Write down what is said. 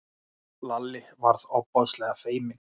Lalli varð ofboðslega feiminn.